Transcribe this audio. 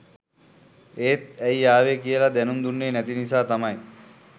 එත් ඇයි ආවේ කියල දැනුම් දුන්නෙ නැති නිසා තමයි